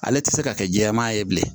Ale tɛ se ka kɛ jɛman ye bilen